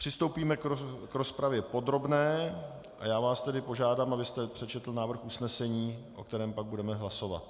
Přistoupíme k rozpravě podrobně a já vás tedy požádám, abyste přečetl návrh usnesení, o kterém pak budeme hlasovat.